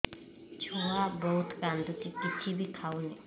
ଛୁଆ ବହୁତ୍ କାନ୍ଦୁଚି କିଛିବି ଖାଉନି